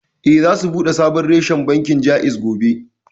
Eh, za su buɗe sabon reshen bankin Jaiz gobe